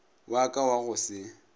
wa ka wa go se